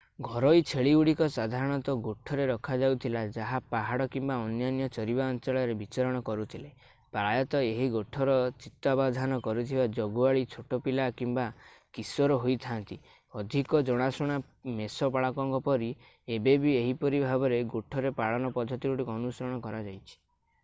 ଘରୋଇ ଛେଳିଗୁଡିକ ସାଧାରଣତଃ ଗୋଠରେ ରଖାଯାଉଥିଲା ଯାହା ପାହାଡ କିମ୍ବା ଅନ୍ୟାନ୍ୟ ଚରିବା ଅଞ୍ଚଳରେ ବିଚରଣ କରୁଥିଲେ ପ୍ରାୟତଃ ଏହି ଗୋଠର ତତ୍ତ୍ୱାବଧାନ କରୁଥିବା ଜଗୁଆଳି ଛୋଟ ପିଲା କିମ୍ବା କିଶୋର ହୋଇଥାନ୍ତି ଅଧିକ ଜଣାଶୁଣା ମେଷପାଳକଙ୍କ ପରି ଏବେ ବି ଏହିପରି ଭାବରେ ଗୋଠରେ ପାଳନ ପଦ୍ଧତିଗୁଡ଼ିକ ଅନୁସରଣ କରାଯାଇଛି